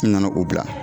N nana o bila